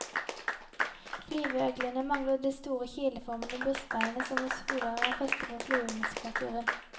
Flyveøglene mangler det store kileformede brystbenet som hos fugler er feste for flyvemuskelaturen.